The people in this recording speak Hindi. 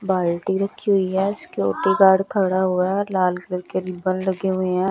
बाल्टी रखी हुई है सिक्योरिटी गार्ड खड़ा हुआ है लाल कलर के रिबन लगे हुए हैं।